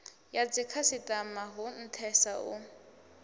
ya dzikhasitama hu nthesa u